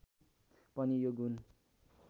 पनि यो गुण